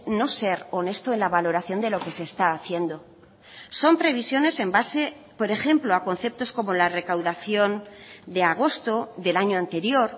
no ser honesto en la valoración de lo que se está haciendo son previsiones en base por ejemplo a conceptos como la recaudación de agosto del año anterior